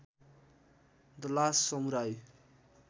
the last samurai